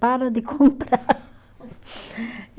Para de comprar.